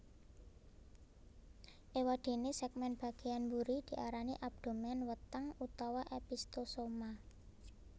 Éwadéné sègmèn bagéyan mburi diarani abdomen weteng utawa opisthosoma